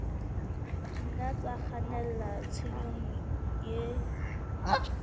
nna tsa kgannela tshenyong e